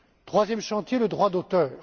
Troisième chantier le droit d'auteur.